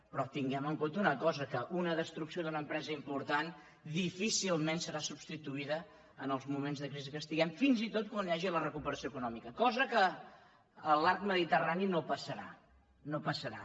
però tinguem en comte una cosa que una destrucció d’una empresa important difícilment serà substituïda en els moments de crisi en què estiguem fins i tot quan hi hagi la recuperació econòmica cosa que a l’arc mediterrani no passarà no passarà